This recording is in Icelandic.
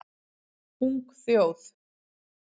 Ung þjóð